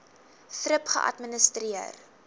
thrip geadministreer